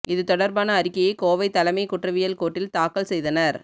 இது தொடர்பான அறிக்கையை கோவை தலைமை குற்றவியல் கோர்ட்டில் தாக்கல் செய்தனர்